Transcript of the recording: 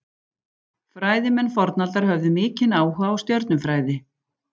Fræðimenn fornaldar höfðu mikinn áhuga á stjörnufræði.